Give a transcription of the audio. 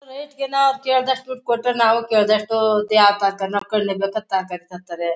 ರೇಟ್ಗೆ ನಾವ್ ಕೇಳ್ದಸ್ಟ್ ದುಡ್ ಕೊಟ್ರೆ ನಾವು ಕೇಳ್ದಷ್ಟು ಅಂಥಾರೆ.